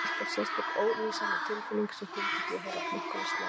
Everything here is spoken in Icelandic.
Það var alltaf sérstök, ólýsanleg tilfinning sem fylgdi því að heyra klukkuna slá.